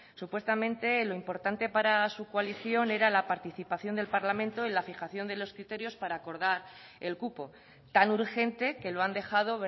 supuestamente lo importante para su coalición era la participación del parlamento en la fijación de los criterios para acordar el cupo tan urgente que lo han dejado